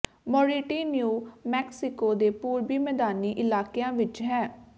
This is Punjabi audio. ਮੋਰਿਟੀ ਨਿਊ ਮੈਕਸੀਕੋ ਦੇ ਪੂਰਬੀ ਮੈਦਾਨੀ ਇਲਾਕਿਆਂ ਵਿਚ ਹੈ